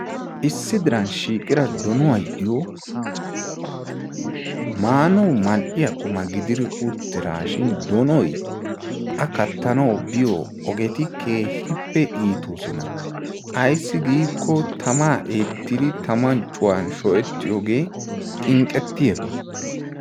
Issi diran shiiqqira donnuwaayo maanawu mal'iya qummaa gididi uttidaashin doonnoy a kattanawu biyo ogeti keehippe iittoosona. Ayssi giikko tamaa eettidi tamman cuwan shoccettiyogee xinqqettiyaaba.